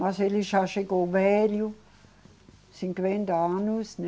Mas ele já chegou velho, cinquenta anos, né?